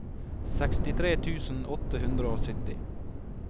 sekstitre tusen åtte hundre og sytti